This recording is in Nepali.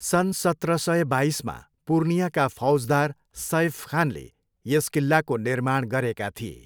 सन् सत्र सय बाइसमा पुर्नियाका फौजदार सैफ खानले यस किल्लाको निर्माण गरेका थिए।